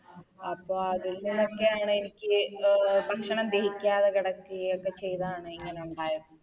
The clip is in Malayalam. അപ്പൊ അതിൽ നിന്നൊക്കെയാണെനിക്ക് അഹ് ഭക്ഷണം ദഹിക്കാതെ കെടക്കുകയും ഒക്കെ ചെയ്തതാണ് ഇങ്ങനെ ഉണ്ടായത്